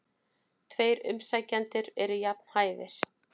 Tveir umsækjendur eru jafn hæfir.